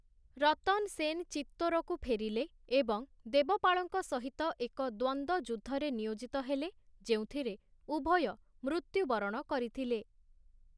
ରତନ୍ ସେନ୍ ଚିତ୍ତୋରକୁ ଫେରିଲେ ଏବଂ ଦେବପାଳଙ୍କ ସହିତ ଏକ ଦ୍ୱନ୍ଦ୍ୱଯୁଦ୍ଧରେ ନିୟୋଜିତ ହେଲେ, ଯେଉଁଥିରେ ଉଭୟ ମୃତ୍ୟୁବରଣ କରିଥିଲେ ।